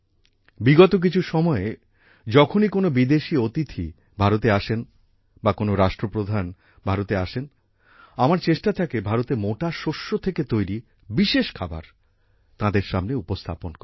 বিগত কিছু সময়ে যখনই কোনও বিদেশী অতিথি ভারতে আসেন বা কোনও রাষ্ট্রপ্রধান ভারতে আসেন আমার চেষ্টা থাকে ভারতের মোটা শস্য থেকে তৈরি বিশেষ খাবার তাঁদের সামনে উপস্থাপন করি